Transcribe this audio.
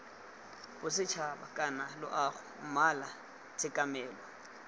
bosetšhaba kana loago mmala tshekamelo